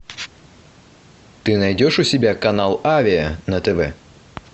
ты найдешь у себя канал авиа на тв